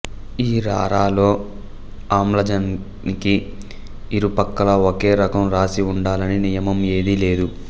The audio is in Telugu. ఈ రారాలో ఆమ్లజనికి ఇరుపక్కలా ఒకే రకం రాశి ఉండాలని నియమం ఏదీ లేదు